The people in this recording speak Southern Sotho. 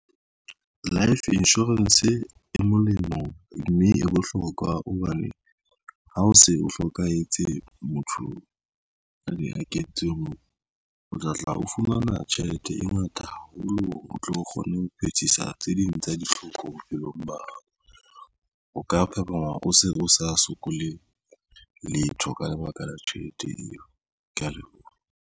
Life insurance e molemo, mme e bohlokwa hobane ha o se o hlokahetse, motho a ne a kentswe moo o tlatla o fumana tjhelete e ngata haholo, o tlo kgone ho phethisa tse ding tsa ditlhoko bophelong ba hao. O ka phaphama o se o sa sokole letho ka lebaka la tjhelete eo, kea leboha.